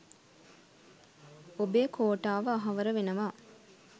ඔබේ කෝටාව අහවර වෙනවා.